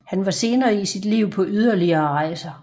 Han var senere i sit liv på yderligere rejser